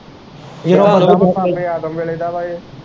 ਬਾਬੇ ਆਜ਼ਮ ਵੇਲੇ ਦਾ ਵਾ ਇਹ।